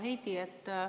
Hea Heidy!